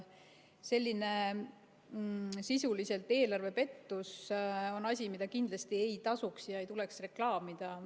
Selline sisuliselt eelarvepettus on asi, mida kindlasti ei tasuks ega tuleks reklaamida.